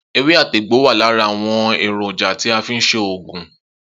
Ewé àti egbò wà lára àwon èrònja tí a fi n se ògùn.